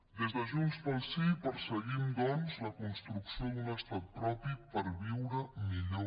des de junts pel sí perseguim doncs la construcció d’un estat propi per viure millor